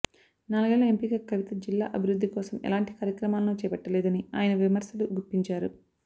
నాలుగేళ్ళలో ఎంపీగా కవిత జిల్లా అభివృద్ధి కోసం ఎలాంటి కార్యక్రమాలను చేపట్టలేదని ఆయన విమర్శలు గుప్పించారు